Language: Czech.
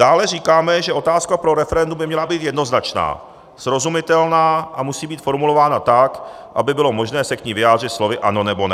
Dále říkáme, že otázka pro referendum by měla být jednoznačná, srozumitelná a musí být formulována tak, aby bylo možné se k ní vyjádřit slovy "ano" nebo "ne".